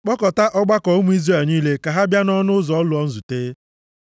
Kpọkọtaa ọgbakọ ụmụ Izrel niile ka ha bịa nʼọnụ ụzọ ụlọ nzute.”